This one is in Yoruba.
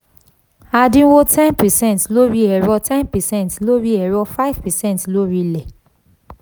adínwó ten per cent lórí ẹ̀rọ ten per cent lórí ẹ̀rọ five per cent lórí ilẹ̀.